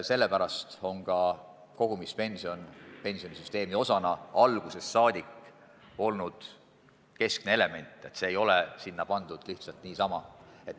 Sellepärast on ka kogumispension olnud algusest peale pensionisüsteemi keskne element, see ei ole sinna pandud lihtsalt niisama.